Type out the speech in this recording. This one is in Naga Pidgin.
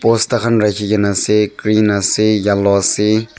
bosta kahn rakhikaena ase green ase yellow ase.